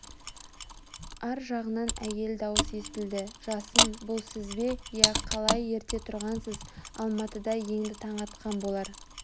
ар жағынан әйел даусы естілді жасын бұл сіз бе иә Қалай ерте тұрғансыз алматыда енді таң атқан болар